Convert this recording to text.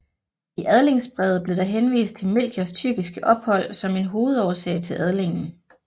I adlingsbrevet blev der henvist til Melchiors tyrkiske ophold som en hovedårsag til adlingen